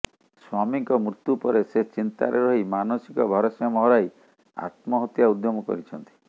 ସ୍ବାମୀଙ୍କ ମୃତ୍ୟୁ ପରେ ସେ ଚିନ୍ତାରେ ରହି ମାନସିକ ଭାରସମ୍ୟ ହରାଇ ଆତ୍ମହତ୍ୟା ଉଦ୍ୟମ କରିଛନ୍ତି